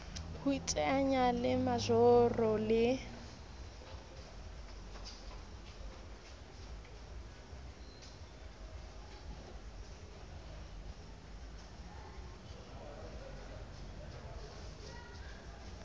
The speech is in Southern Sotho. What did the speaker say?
ho iteanya le majoro le